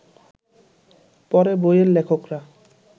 পরে বইয়ের লেখকরা